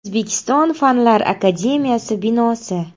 O‘zbekiston Fanlar akademiyasi binosi.